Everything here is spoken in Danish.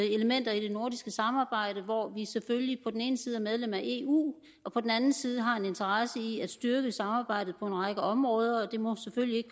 elementer i det nordiske samarbejde hvor vi selvfølgelig på den ene side er medlem af eu og på den anden side har en interesse i at styrke samarbejdet på en række områder det må selvfølgelig